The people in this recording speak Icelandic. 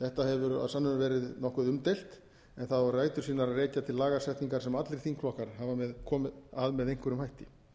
þetta hefur að sönnu verið nokkuð umdeilt en það á rætur sínar að rekja til lagasetningar sem allir þingflokkar hafa komið að með einhverjum hætti í þessu frumvarpi er þess freistað að